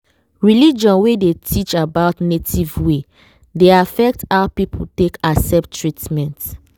religion wey dey teach about native way dey affect how people take accept treatment.